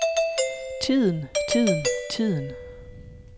tiden tiden tiden